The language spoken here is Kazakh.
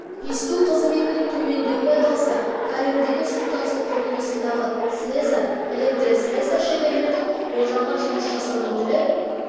есту қызметінің төмендеуі байқалса карьердегі су тасу құрылғысындағы слесарь электрослесарь шеберлердің болжанған жұмыс жасау өтілі